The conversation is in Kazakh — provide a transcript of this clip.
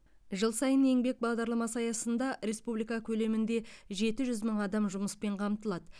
жыл сайын еңбек бағдарламасы аясында республика көлемінде жеті жүз мың адам жұмыспен қамтылады